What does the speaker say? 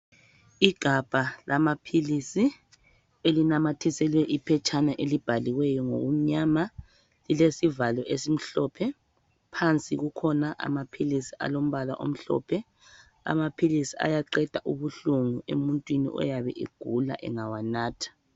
Igabha lamaphilisi elinamathiselwe iphetshana elibhaliweyo ngokumnyama lilesivalo esimhlophe phansi kukhona amaphilisi alombala omhlophe amaphilisi ayaqeda ubuhlungu emuntwini oyabe egula engawanatha.